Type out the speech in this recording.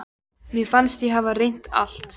Mér fannst ég hafa reynt allt.